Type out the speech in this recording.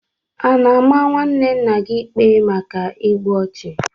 A na-ama nwanne nna gị ikpe maka igbu ọchụ?